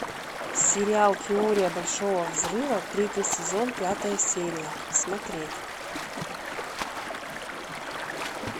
сериал теория большого взрыва третий сезон пятая серия смотреть